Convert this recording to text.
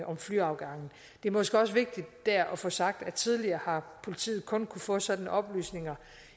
om flyafgange det er måske også vigtigt der at få sagt at tidligere har politiet kun kunnet få sådanne oplysninger